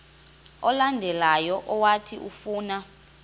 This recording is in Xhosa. olandelayo owathi ufuna